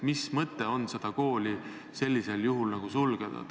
Mis mõte on sellisel juhul koole sulgeda?